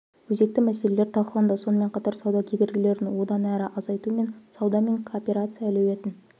өзекті мәселелер талқыланды сонымен қатар сауда кедергілерін одан әрі азайту мен сауда мен кооперация әлеуетін